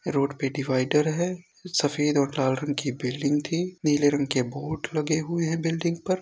Road पे divider है। सफेद और लाल रंग की बिल्डिंग थी नीले रंग के बोर्ड लगे हुए हैं बिल्डिंग पर --